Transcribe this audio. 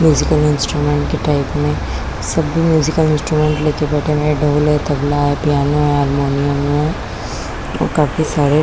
musical instrument के type में सभी म्यूजिकल इंस्ट्रूमेंट ले के बैठे हुए ढोल है तबला है पियानो है हारमोनियम है और काफी सारे--